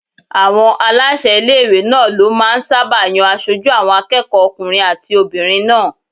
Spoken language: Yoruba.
Àwọn aláṣẹ ilé-ìwé náà ló máà ń sáábà yan aṣojú àwọn akẹ́kọ̀ọ́ okùnrin àti obìnrin náà